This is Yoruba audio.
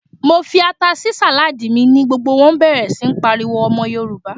Mo fi ata sí sàládì mi, ni gbogbo wón bẹ̀rẹ̀ sí ń pariwo "Ọmọ Yorùbá."